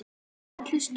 Takk fyrir að hlusta.